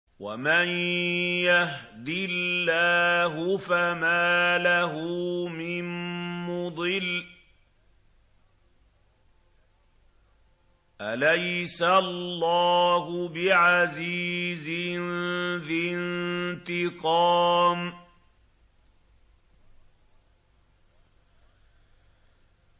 وَمَن يَهْدِ اللَّهُ فَمَا لَهُ مِن مُّضِلٍّ ۗ أَلَيْسَ اللَّهُ بِعَزِيزٍ ذِي انتِقَامٍ